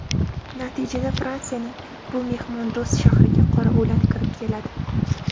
Natijada Fransiyaning bu mehmondo‘st shahriga qora o‘lat kirib keladi.